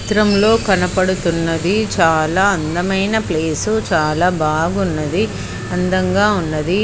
భ్రమలో కనపడుతున్నది. చాలా అందమైన ప్లేసు . చాలా బాగున్నది. అందంగా ఉన్నది.